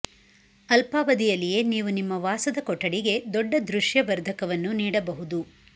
ಅಲ್ಪಾವಧಿಯಲ್ಲಿಯೇ ನೀವು ನಿಮ್ಮ ವಾಸದ ಕೊಠಡಿಗೆ ದೊಡ್ಡ ದೃಶ್ಯ ವರ್ಧಕವನ್ನು ನೀಡಬಹುದು